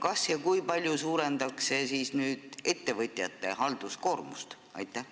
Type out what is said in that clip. Kas ja kui palju suurendatakse siis nüüd ettevõtjate halduskoormust?